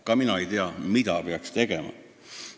Ka mina ei tea, mida peaks tegema.